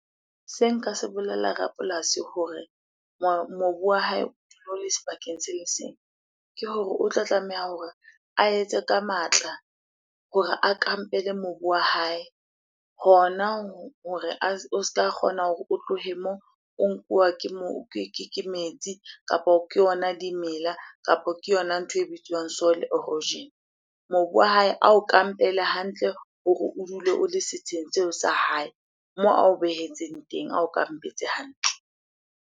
Se nka se bolella rapolasi hore mobu wa hae sebakeng se le seng, ke hore o tlo tlameha hore a etse ka matla hore a kampele mobu wa hae hona hore o ska kgona hore o tlohe moo, o nkuwa ke metsi kapa ke yona dimela, kapo ke yona ntho e bitswang soil erosion. Mobu wa hae a o ka mpehele hantle hore o dule o le setsheng seo sa hae moo ao behetseng teng, ao kampetse hantle.